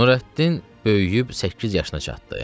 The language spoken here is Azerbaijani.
Nurəddin böyüyüb səkkiz yaşına çatdı.